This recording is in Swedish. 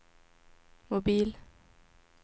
mobil